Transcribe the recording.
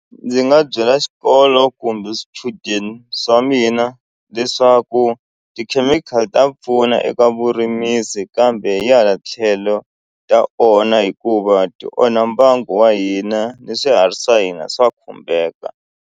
Ndzi nga byela xikolo kumbe swichudeni swa mina leswaku tikhemikhali ta pfuna eka vurimisi kambe hi hala tlhelo ta onha hikuva ti onha mbangu wa hina ni swihari swa hina swa khumbeka.